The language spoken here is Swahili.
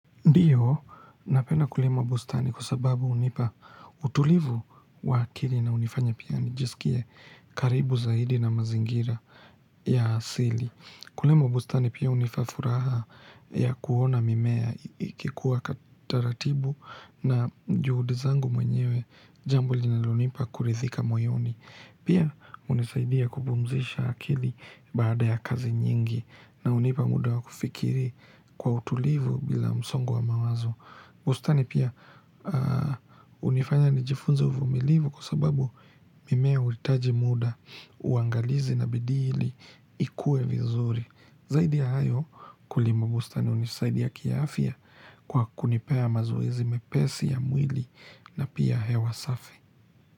Ndiyo napenda kulima bustani kwa sababu hunipa utulivu wa akili na hunifanya pia nijiskie karibu zaidi na mazingira ya asili. Kulima bustani pia hunipa furaha ya kuona mimea ikikuwa kwataratibu na juhudi zangu mwenyewe jambo li na lonipa kurithika moyoni. Pia unisaidia kubumzisha akili baada ya kazi nyingi na unipa muda wa kufikiri kwa utulivu bila msongu wa mawazo. Bustani pia unifanya nijifunze uvumilivu kwa sababu mimea ulitaji muda uangalizi na bidili ikue vizuri. Zaidi ya hayo kulima bustani unisaidia kiaafia kwa kunipea mazuezi mepesi ya mwili na pia hewa safi.